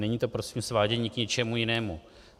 Není to prosím svádění k něčemu jinému.